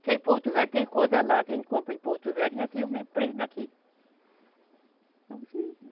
Porque em Porto Velho tem coisa lá que a gente compra em Porto Velho e aqui é o mesmo preço daqui.